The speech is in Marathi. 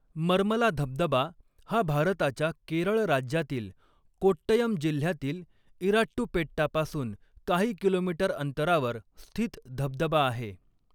मर्मला धबधबा हा भारताच्या केरळ राज्यातील कोट्टयम जिल्ह्यातील इराट्टुपेट्टा पासून काही किलोमीटर अंतरावर स्थित धबधबा आहे.